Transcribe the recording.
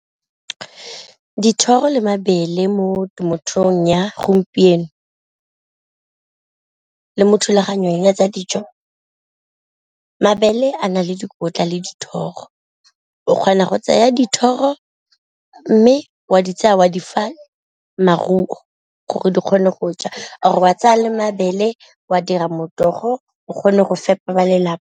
Dithoro le mabele mo temothuong ya gompieno le mo thulaganyong ya tsa dijo, mabele a na le dikotla le dithoro o kgona go tseya dithoro mme wa tsaya wa di fa maruo gore di kgone go ja, or ba tsaya le mabele wa dira morogo o kgone go fepa ba lelapa.